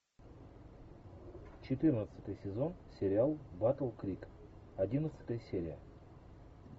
четырнадцатый сезон сериал батл крик одиннадцатая серия